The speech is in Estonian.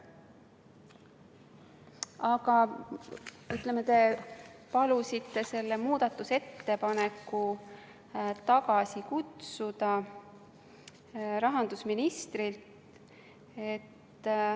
Aga te palusite selle muudatusettepaneku tagasi kutsuda.